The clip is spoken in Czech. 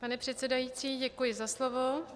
Pane předsedající, děkuji za slovo.